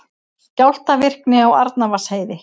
Skjálftavirkni á Arnarvatnsheiði